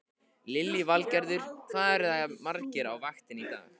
Lillý Valgerður: Hvað eruð þið margir á vaktinni í dag?